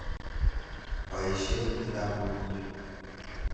Poisyen kitaput ni.